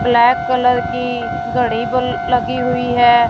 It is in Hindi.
ब्लैक कलर की घड़ी बल लगी हुई है।